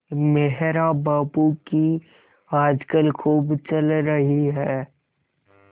मेहरा बाबू की आजकल खूब चल रही है